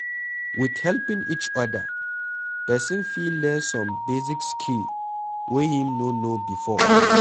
With helping each oda, person fit learn some basic skill wey im no know before